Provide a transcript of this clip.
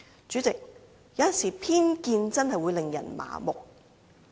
主席，有時候偏見確實會使人盲目。